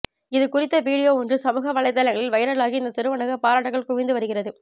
இதுகுறித்த வீடியோ ஒன்று சமூக வலைத்தளங்களில் வைரலாகி இந்த சிறுவனுக்கு பாராட்டுக்கள் குவிந்து வருகிறது